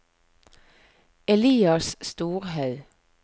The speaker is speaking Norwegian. Elias Storhaug